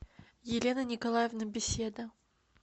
елена николаевна беседа